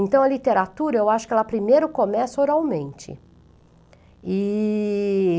Então, a literatura, eu acho que ela primeiro começa oralmente. E...